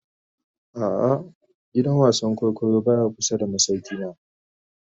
A'a, gidan wasan kwaikwayo baya kusa da masaukina